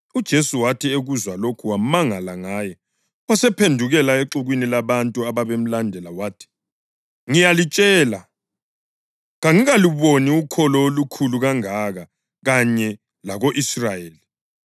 UJesu wathi ekuzwa lokhu wamangala ngaye, wasephendukela exukwini labantu ababemlandela wathi, “Ngiyalitshela, kangikaluboni ukholo olukhulu kangaka kanye lako-Israyeli.”